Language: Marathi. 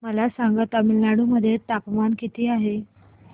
मला सांगा तमिळनाडू मध्ये तापमान किती आहे